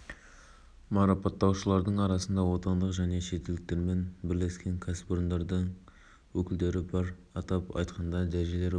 атырау облысына барған сапары барысында нұрсұлтан назарбаев еліміздің мұнай-газ өнеркәсібін дамытуға үлес қосқан бір топ мұнайшыны